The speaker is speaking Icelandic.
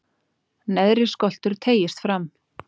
neðri skoltur teygist fram